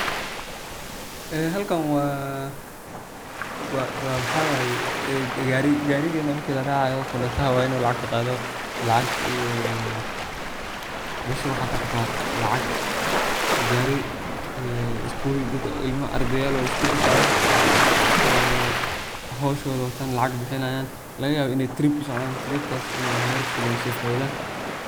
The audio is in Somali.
Halkan waxa weye gariga marka laracayo, konduktaha inu lacagta qadoo weye iyo mesha waxan ka arka lacag. Gari ilma iskul ardayaal oo u socdan ,howshodo u socdan uu egtahay iney trip u socdon iney wax yabo fara badan kaso faiddan.